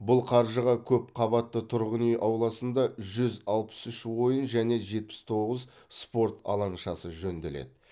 бұл қаржыға көпқабатты тұрғын үй ауласында жүз алпыс үш ойын және жетпіс тоғыз спорт алаңшасы жөнделеді